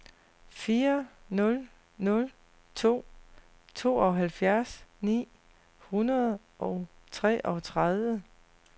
fire nul nul to tooghalvfjerds ni hundrede og treogtredive